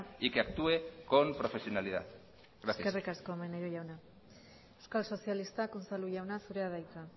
y que actúe con profesionalidad gracias eskerrik asko maneiro jauna euskal sozialistak unzalu jauna zurea da hitza